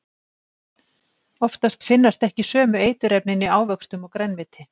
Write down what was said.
Oftast finnast ekki sömu eiturefnin í ávöxtum og grænmeti.